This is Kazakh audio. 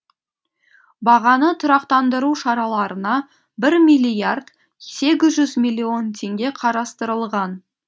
бағаны тұрақтандыру шараларына бір миллиард сегіз жүз миллион теңге қарастырылған